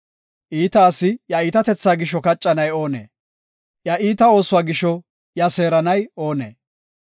Iita asi iya iitatethaa gisho kaccanay oonee? Iya oosuwa gisho iya seeranay oonee?